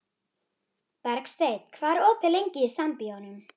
Valentína, kanntu að spila lagið „Færeyjablús“?